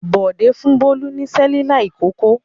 Bọ̀dé fún Bólú ní Cerelac ìkókó.